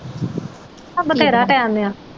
ਉਹ ਬਥੇਰਾ ਟਾਈਮ ਪਿਆ।